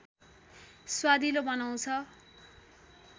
स्वादिलो बनाउँछ